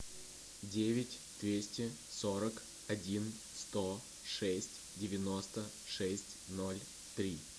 девять двести сорок один сто шесть девяносто шесть ноль три